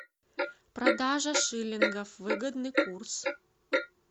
продажа шиллингов выгодный курс